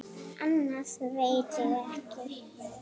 Annað veit ég ekki.